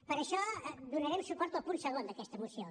per això donarem suport al punt segon d’aquesta moció